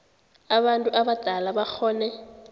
abantu abadala bakghone